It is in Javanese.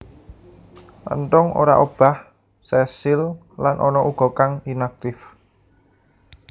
Enthung ora obah sesil lan ana uga kang inaktif